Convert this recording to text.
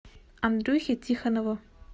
андрюхе тихонову